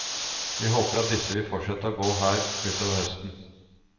Vi håper at disse vil fortsette å gå her utover høsten.